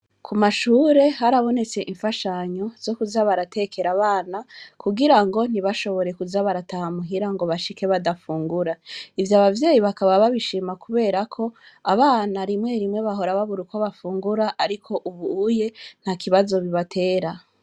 Ku mashure harabonetse imfashanyo zo kuza baratekera abana kugira ngo ntibashobore kuza baratahamuhira ngo bashike badafungura ivyo abavyeyi bakaba babishima kuberako abana rimwe rimwe bahora babura uko bafungura, ariko ubuye nta kibazo bibatera.